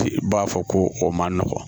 I b'a fɔ ko o man nɔgɔn